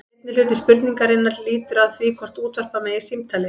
Seinni hluti spurningarinnar lýtur að því hvort útvarpa megi símtali.